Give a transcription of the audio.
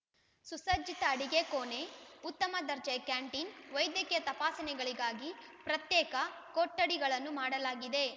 ಸುಸಜ್ಜಿತ ಅಡಿಗೆ ಕೋಣೆ ಉತ್ತಮ ದರ್ಜೆಯ ಕ್ಯಾಂಟೀನ್‌ ವೈದ್ಯಕೀಯ ತಪಾಸಣೆಗಳಿಗಾಗಿ ಪ್ರತ್ಯೇಕ ಕೊಠಡಿಗಳನ್ನು ಮಾಡಲಾಗಿದೆ